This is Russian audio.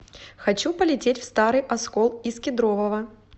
хочу полететь в старый оскол из кедрового